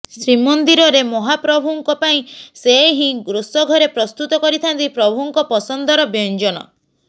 ଶ୍ରୀମନ୍ଦିରରେ ମହାପ୍ରଭୁଙ୍କ ପାଇଁ ସେ ହିଁ ରୋଷଘରେ ପ୍ରସ୍ତୁତ କରିଥାନ୍ତି ପ୍ରଭୁଙ୍କ ପସନ୍ଦର ବ୍ୟଞ୍ଜନ